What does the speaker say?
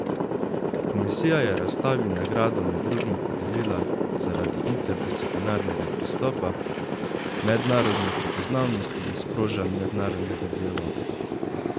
Komisija je razstavi nagrado med drugim podelila zaradi interdisciplinarnega pristopa, mednarodne prepoznavnosti in sprožanj mednarodnega dialoga.